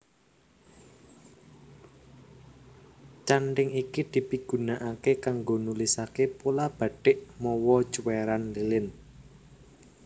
Canthing iki dipigunakaké kanggo nulisaké pola bathik mawa cuwèran lilin